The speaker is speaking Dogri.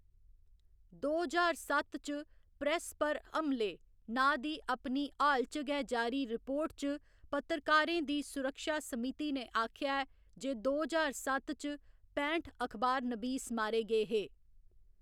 दो ज्हार सत्त च प्रैस पर हमले नांऽ दी अपनी हाल च गै जारी रिपोर्ट च, पत्रकारें दी सुरक्षा समिति ने आखेआ ऐ जे दो ज्हार सत्त च पैंठ अखबारनबीस मारे गे हे।